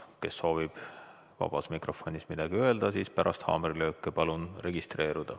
Kes soovib vabas mikrofonis midagi öelda, siis pärast haamrilööki palun registreeruda.